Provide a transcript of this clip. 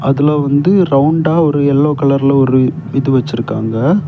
அதுல வந்து ரவுண்டா ஒரு எல்லோ கலர்ல ஒரு இது வச்சிருக்காங்க.